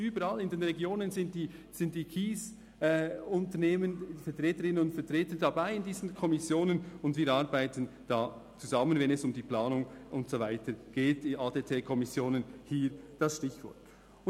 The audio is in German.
Überall in den Regionen sind die Kiesunternehmen, deren Vertreterinnen und Vertreter, in diesen Kommissionen dabei, und wir arbeiten zusammen, wenn es um die Planung und so weiter geht – das Stichwort lautet hier ADT-Kommission.